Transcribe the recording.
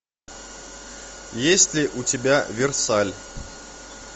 есть ли у тебя версаль